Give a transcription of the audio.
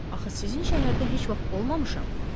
Axı sizin şəhərdə heç vaxt olmamışam.